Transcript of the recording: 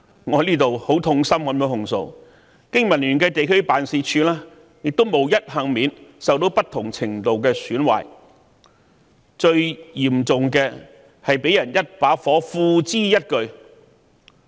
我在此很痛心地控訴，經民聯的地區辦事處亦無一幸免，受到不同程度的損壞，最嚴重的是被人縱火，付諸一炬。